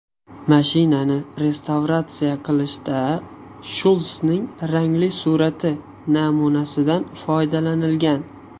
Mashinani restavratsiya qilishda Shulsning rangli surati namunasidan foydalanilgan.